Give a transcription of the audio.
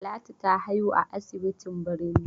Talatu ta haihu a asibitin birni.